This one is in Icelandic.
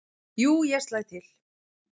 """Jú, ég slæ til"""